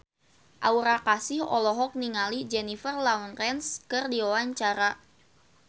Aura Kasih olohok ningali Jennifer Lawrence keur diwawancara